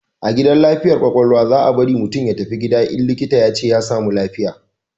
A gidan lafiyar kwakwalwa, za bari mutum ya tafi gida in likita ya ce ya samu lafiya